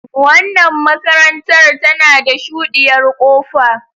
Wannan makarantar tana da shuɗiyar kofa.